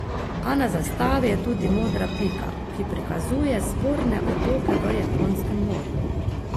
A na zastavi je tudi modra pika, ki prikazuje sporne otoke v Japonskem morju.